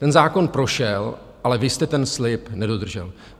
Ten zákon prošel, ale vy jste ten slib nedodržel.